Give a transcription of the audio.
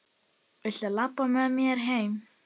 Viltu labba með mér heim!